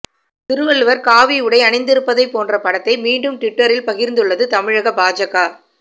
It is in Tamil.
திருவள்ளுவர் காவி உடை அணிந்திருப்பதை போன்ற படத்தை மீண்டும் ட்விட்டரில் பகிர்ந்துள்ளது தமிழக பாஜக